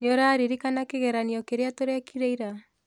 Nĩũraririkana kĩgeranio kĩrĩa tũrekire ira?